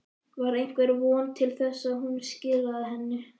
Var einhver von til þess að hún skilaði henni?